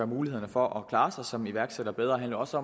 mulighederne for at klare sig som iværksætter bedre handler også